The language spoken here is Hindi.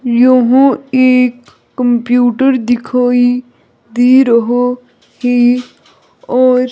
यहो एक कंप्यूटर दिखाई दे रहा है और--